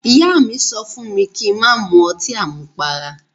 Ìyá mi sọ fún mi kí n má mu ọtí àmupara.